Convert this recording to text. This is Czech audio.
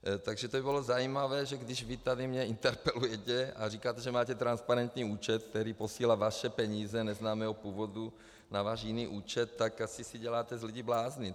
Takže to by bylo zajímavé, že když vy mě tady interpelujete a říkáte, že máte transparentní účet, který posílá vaše peníze neznámého původu na váš jiný účet, tak asi si děláte z lidí blázny.